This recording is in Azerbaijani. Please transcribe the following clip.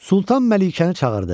Sultan Məlikəni çağırdı.